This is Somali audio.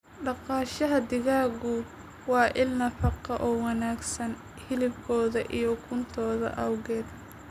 Dhaqashada digaaggu waa il nafaqo oo wanaagsan hilibkooda iyo ukuntooda awgeed.